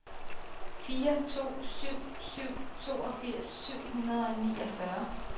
fire to syv syv toogfirs syv hundrede og niogfyrre